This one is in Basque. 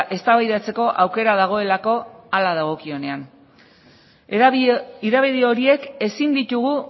eztabaidatzeko aukera dagoelako hala dagokionean hedabide horiek ezin ditugu